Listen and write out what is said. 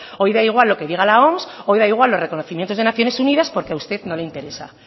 hoy da igual lo que diga la oms hoy da igual los reconocimientos de naciones unidas porque a usted no le interesa